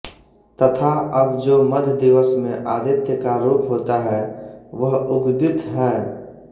तथा अब जो मध्य दिवस में आदित्य का रूप होता है वह उद्गीथ है